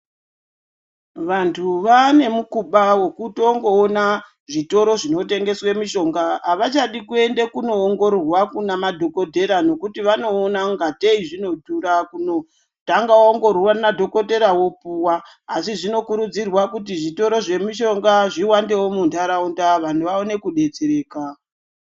Vantu vaanemukuba wekutongoona zvitoro zvinotengeswa mushonga, avachadi kuende kunoongororwa kunamadhokothera. Nekuti vanoona kungatei zvinodhura kunotanga waongororwa kuna dhokothera wopuwa. Asi zvinokurudzirwa kuti zvitoro zvemishonga zviwandewo muntaraunda, vantu vaone kudetsereka.